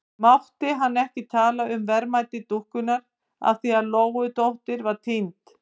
Mátti hann ekki tala um verðmæti dúkkunnar af því að Lóudóttir var týnd?